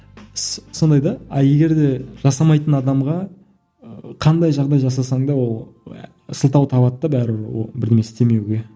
сондай да а егер де жасамайтын адамға ыыы қандай жағдай жасасаң да ол сылтау табады да бәрібір ол бірдеңе істемеуге